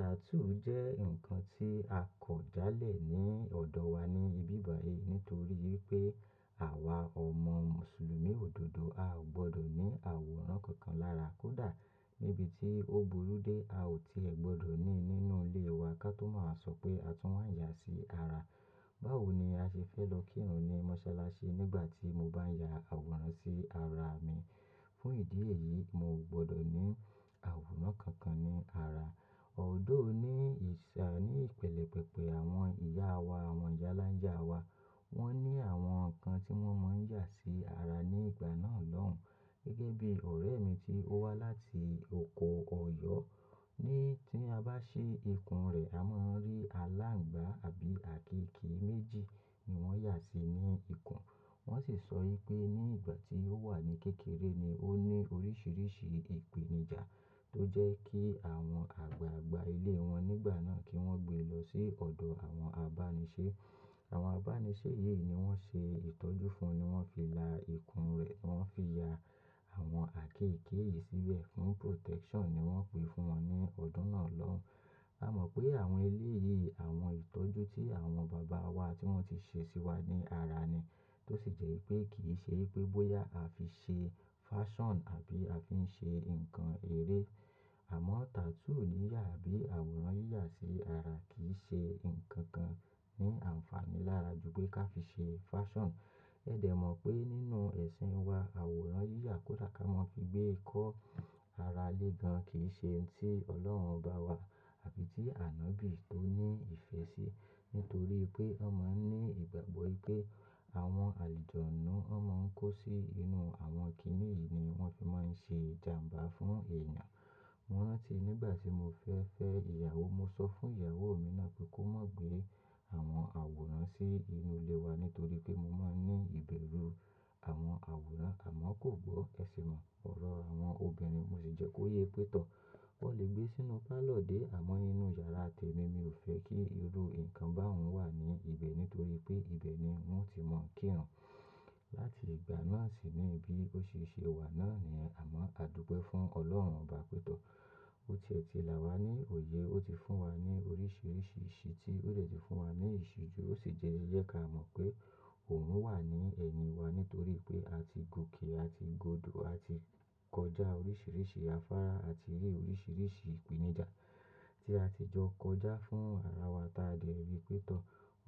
"Tattoo" jẹ́ ǹkan tí a kọ̀ jálẹ̀ ní ọ̀dọ̀ wa ní bíbàyí nítorí pé àwa ọmọ Mùsùlùmí òdodo a ò gbọ́dọ̀ ní àwòrán kankan lára. Kódà níbi tí ó burú dé a ò tiẹ̀ gbọ́dọ̀ ní nínú ilé wa ká tó máa sọ pé a tún máa ń yà sí ara. Báwo ni a ṣe fẹ́ lọ kírun ni mọ́sálásí nígbà tí mo bá ń ya àwòrán sí ara mi. Fún ìdí èyí, mo gbọ́dọ̀ ní àwòrán kankan ní ara. "Although" ni ìpèlè pẹpẹ àwọn ìyá wa, àwọn ìyáláńjà wa. Wọ́n ní àwọn ǹkan tí wọ́n máa ń yà sí ara ní ìgbà náà lọ́hùn. Gẹ́gẹ́ bí ọ̀rẹ́ mi tí ó wá láti oko Ọ̀yọ́, ní tí a bá ṣe ikùn rẹ a máa rí alángbà àbí àkéékèé méjì ni wọ́n yà sí ní ikùn. Wọ́n sì sọ pé ní ìgbà tí ó wà ní kékeré ni ó ní oríṣiríṣi ìpèníjà tó jẹ́ kí àwọn àgbààgbà ilé wọn nígbà náà kí wọ́n gbé lọ sí ọ̀dọ̀ àwọn àbánisẹ́. Àwọn àbánisẹ́ yìí ni wọ́n ṣe ìtọ́jú fún, ni wọ́n fi la ikùn rẹ̀, wọ́n fi ya àwọn àkéékèé yìí síbẹ̀ fún "protection" ni wọ́n pè fún wọn ní ọdún náà lọ́hùn. A mọ̀ pé àwọn eléyìí, àwọn ìtọ́jú tí àwọn bàbá wa tí wọ́n ti ṣe sí wa ní ara ni. Tó sì jẹ́ wípé kì í ṣe wípé bóyá a fi ṣe "fashion" àbí a fi ń ṣe ǹkan èrè. Àmọ́ tattoo yíyà bí àwòrán yíyà sí ara kì í ṣe ǹkan kan ní àǹfààní lára ju pé ká fi ṣe "fashion". Ẹ̀ dẹ̀ mọ̀ pé nínú ẹ̀sìn wa àwòrán yíyà kódà ká mọ́ fi gbé kọ́ ara lé gan kì í ṣe ohun tí Ọlọ́run ọba wa àbí tí ànábì tó ní ìfẹ́ síi. Nítorí pé wọ́n máa ń ní ìgbàgbọ́ wípé àwọn àlùjọ́nù inú wọ́n máa ń kó sí inú àwọn kiní yìí ni wọ́n fi máa ń ṣe ìjàǹbá fún èèyàn. Moran ti nígbà tí mo fẹ́ fẹ́ ìyàwó, mo sọ fún ìyàwó mi náà pé kó má gbé àwọn àwòrán sí inú ilé wa nítorí pé mo máa ń ní ìbẹ̀rù àwọn àwòrán. Àmọ́ kò gbọ́ ẹṣin, ọ̀rọ̀ àwọn obìnrin, mo sì jẹ́ kó yé pé tọ́, ó lè gbé sínú parlour dé àmọ́ inú yàrá tèmi, mi ò fẹ́ kí irú ǹkan báhun wà ní ibẹ̀ nítorí pé ibẹ̀ ni mo ti mọ̀ ń kírun. Láti ìgbà náà sì níbí ó ṣe ṣe wà náà ni, àmọ́ a dùgbẹ́ fún Ọlọ́run ọba pé tó. Bó ti ẹ̀ ti là wá ní òye, ó ti fún wa ní oríṣiríṣi iṣtí ó dé ti fún wa ní ìṣíjú ó sì jẹ́ ká mọ̀ pé òun wà ní ẹ̀yin wa nítorí pé a ti gòkè, a ti godo, a ti kọjá oríṣiríṣi afárá àti rí oríṣiríṣi ìpèníjà tí a ti jọ kọjá fún ara wa tí a dẹ̀ rí pé tọ́.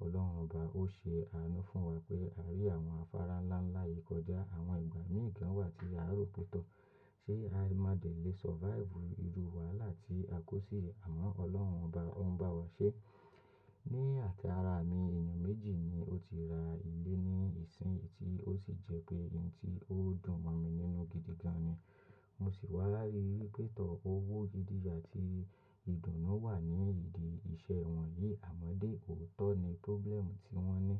Ọlọ́run ọba ó ṣe àánú fún wa pé a rí àwọn afárá ńlá ńlá yìí kọjá. Àwọn ìgbà mìí kan wà tí a rò pé tọ́ ṣé a má dẹ̀ le "survive" irú wàhálà tí a kó sí yìí, àmọ́ Ọlọ́run ọba òun bá wa ṣe. Ní àti ara mi èèyàn méjì ni ó ti ra ilé ní ìsìn yìí tí ó sì jẹ́ pé ohun tí ó dùn mọ́ mi nínú gidi gan ni. Mo sì wá rí wípé tọ́ owó gidi àti ìdùnnú wà ní ìdí iṣẹ́ wọn yìí. Àmọ́ dé, òótọ́ ni problem tí wọ́n ní.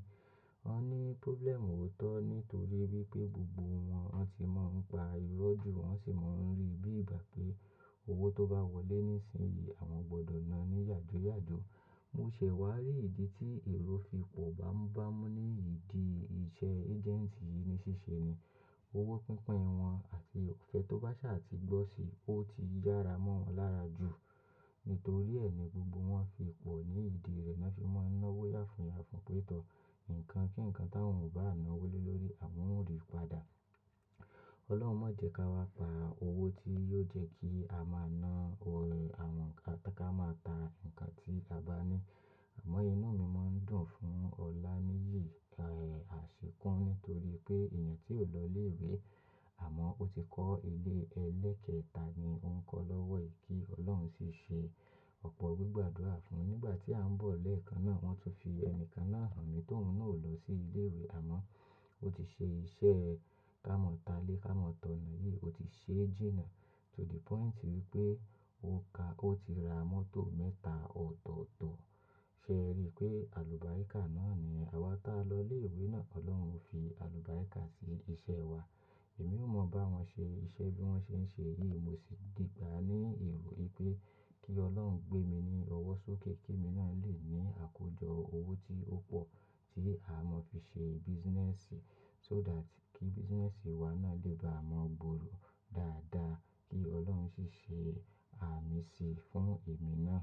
Wọ́n ní "problem" òótọ́ nítorí wípé gbogbo wọn wọ́n ti máa ń pa irọ́ jù, wọ́n sì máa ń rí bí ìgbà pé owó tó bá wọlé nísinsìnyí àwọn gbọ́dọ̀ na ní yàjúyàjú. Mo ṣẹ̀ wá rí ìdí tí èrò fi pọ̀ báńbámú ní ìdí iṣẹ́ "agenti" yìí ni ṣíṣe ni. Owó pínpín wọn àti ọ̀fẹ́ tó bá ṣà àti gbọ́ sì ó ti yára mọ́ wọn lára jù. Nítorí ni gbogbo wọ́n fi pọ̀ ní ìdí rẹ̀, wọ́n se máa ń náwó yàfùn yàfùn pé tọ́ ǹkan kí ǹkan táwọn ò bá na wólé lórí àwọn ó rí padà. Ọlọ́run má jẹ́ ká wá pa owó tí yóò jẹ́ kí a máa na ọ̀rẹ́ àwọn ǹkán máa ta ǹkan tí a bá ní. Àmọ́ inú mi máa ń dùn fún ọ̀laníyì, ẹ̀, àṣekún nítorí pé èèyàn tí ò lọ ilé ìwé àmọ́ ó ti kọ́ ilé ẹlẹ́ẹ̀kẹta ni ó ń kọ́ lọ́wọ́ yìí kí Ọlọ́run sì ṣe ọ̀pọ̀ gbígbàdúrà fún. Nígbà tí a ń bọ̀ lẹ́ẹ̀kan náà wọ́n tún fi ẹni kan náà hàn mí tóun náà ò lọ sí ilé ìwé àmọ́ ó ti ṣe iṣẹ́ ká mọ̀ ta lé ká mọ̀ tọ̀nà yìí, ó ti ṣe jìnà to the "point" wípé ó ka ó ti ra mọ́tò mẹ́ta ọ̀tọ̀ọ̀tọ̀. Ṣé ẹ rí i pé àlùbáríkà náà ni àwa tí a lọ ilé ìwé náà Ọlọ́run fi àlùbáríkà sí iṣẹ́ wa. Èmi ò mọ̀ bá wọn ṣe iṣẹ́ bí wọ́n ṣe ń ṣe yìí, mo sì ti gba ní èrò wípé kí Ọlọ́run gbé mi ní ọwọ́ sókè kí èmi náà lè ní àkójọ owó tí ó pọ̀ tí a máa fi ṣe "business" "so" that kí "business" wa náà lè bá a mọ́ gbòòrò dáadáa kí Ọlọ́run sì ṣe àmì sí fún èmi náà.